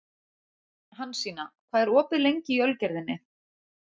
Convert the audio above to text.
Hansína, hvað er opið lengi í Ölgerðinni?